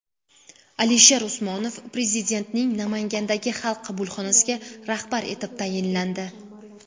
Alisher Usmonov Prezidentning Namangandagi xalq qabulxonasiga rahbar etib tayinlandi.